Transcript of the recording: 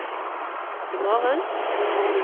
imorgen